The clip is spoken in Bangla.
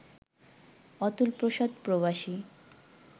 অতুল প্রসাদ প্রবাসী